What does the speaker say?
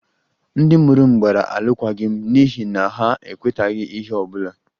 Ndị mụrụ m gbara alụkwaghịm n'ihi na ha ekwetaghị ihe ọ bụla